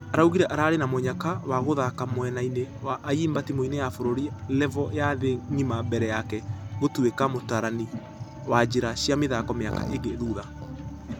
Araugire ararĩ na mũnyaka wa gũthaka mwena-inĩ wa ayimba timũ-inĩ ya bũrũri revo ya thĩ ngima mbere yake gũtũikq mũtarani wa njĩra cia mĩthako mĩaka ĩngĩ thutha.